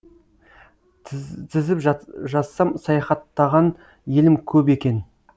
тізіп жазсам саяхаттаған елім көп екен